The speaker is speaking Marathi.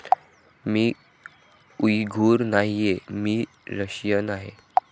मी उइघुर नाहीये. मी रशियन आहे.